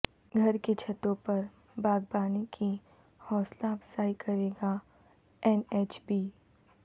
گھر کی چھتوںپر باغبانی کی حوصلہ افزائی کرے گااین ایچ بی